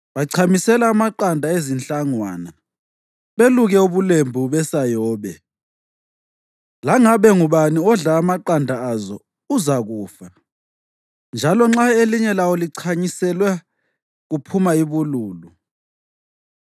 Bachamisela amaqanda ezinhlangwana, beluke ubulembu besayobe. Langabe ngubani odla amaqanda azo uzakufa, njalo nxa elinye lawo lichanyiselwe kuphuma ibululu.